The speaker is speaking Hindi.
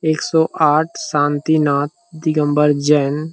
एक सौ आठ शांति नाथ दिगम्बर जैन --